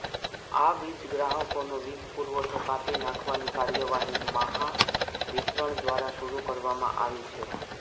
આવા વીજગ્રાહકોનો વીજપુરવઠો કાપી નાખવાની કાર્યવાહી મહાવિતરણ દ્વારા શરૂ કરવામાં આવી છે